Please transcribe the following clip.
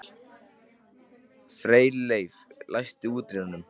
Freyleif, læstu útidyrunum.